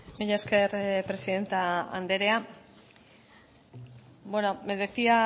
mila esker presidente anderea bueno me decía